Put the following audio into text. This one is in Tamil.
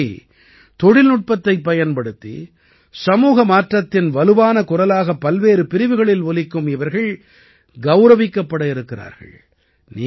இதன்படி தொழில்நுட்பத்தைப் பயன்படுத்தி சமூக மாற்றத்தின் வலுவான குரலாக பல்வேறு பிரிவுகளில் ஒலிக்கும் இவர்கள் கௌரவிக்கப்பட இருக்கிறார்கள்